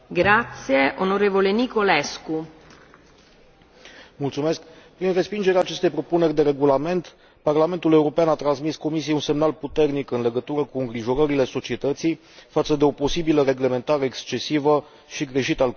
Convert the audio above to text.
Doamnă președinte, prin respingerea acestei propuneri de regulament, Parlamentul European a transmis Comisiei un semnal puternic în legătură cu îngrijorările societății față de o posibilă reglementare excesivă și greșit alcătuită.